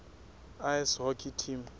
ice hockey team